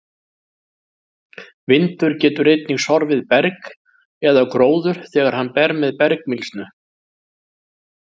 Vindur getur einnig sorfið berg eða gróður þegar hann ber með bergmylsnu.